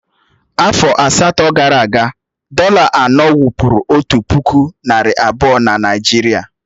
Afọ asatọ gara aga, dọ̀là anọ wụ́bụ́ru otu puku nari abuo na Naịjirịa